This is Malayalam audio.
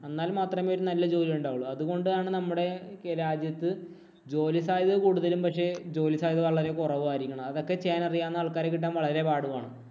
എന്നാല്‍ മാത്രമേ ഒരു നല്ല ജോലിയുണ്ടാവുള്ളൂ. അതുകൊണ്ടാണ് നമ്മടെ രാജ്യത്ത് ജോലിസാധ്യത കൂടുതലും പക്ഷേ, ജോലി സാധ്യത വളരെ കുറവും ആയിരിക്കുന്നത്. അതൊക്കെ ചെയ്യാന്‍ അറിയാവുന്ന ആള്‍ക്കാരെ കിട്ടാന്‍ വളരെ പാടുമാണ്.